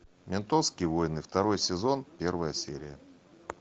ментовские войны второй сезон первая серия